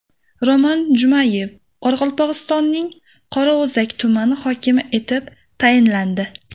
Roman Jumabayev Qoraqalpog‘istonning Qorao‘zak tumani hokimi etib tayinlandi.